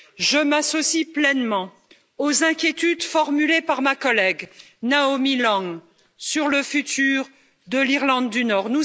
Je m'associe pleinement aux inquiétudes formulées par ma collègue, Naomi Long, sur le futur de l'Irlande du Nord.